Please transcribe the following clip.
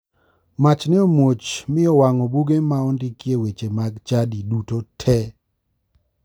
Mach ne omuoch mi owang'o buge ma ondikie weche mag chadi duto te.